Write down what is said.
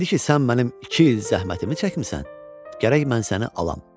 İndi ki sən mənim iki il zəhmətimi çəkmisən, gərək mən səni alam.